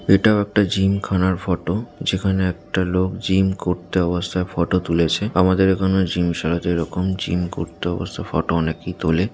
এটাও একটা জিম খানার ফটো যেখানে একটা লোক জিম করতে অবস্থায় ফটো তুলেছে আমাদের এখানে জিম সালাতে জিম করতে অবস্থা ফটো অনেকেই তোলে।